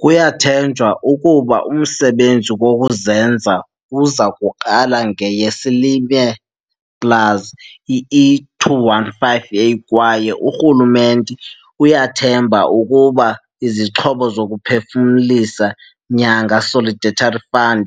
Kuyathenjwa ukuba umsebenzi wokuzenza uza kuqala ngeyeSilimelplusE215a kwaye urhulumente uyathemba ukuba izixhobo zokuphefumlisa nyanga Solidarity Fund